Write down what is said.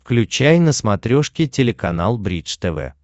включай на смотрешке телеканал бридж тв